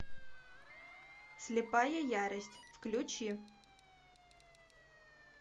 слепая ярость включи